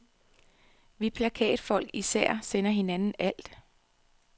Vi plakatfolk, især, sender hinanden alt.